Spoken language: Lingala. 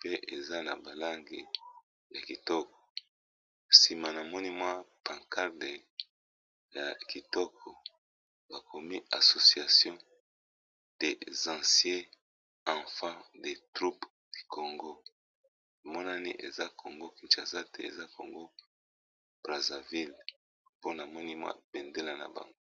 pe eza na ba langi ya kitoko, sima na moni mwa pancarde ya kitoko ba komi association des anciens enfants de troupe Congo. E monani eza Congo kinshasa te, eza Congo Brazzaville pona moni mwa bendele na bango .